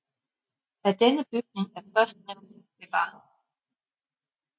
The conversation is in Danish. Af denne bygning er førstnævnte bevaret